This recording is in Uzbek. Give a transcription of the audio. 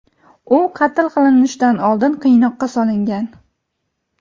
u qatl qilinishidan oldin qiynoqqa solingan.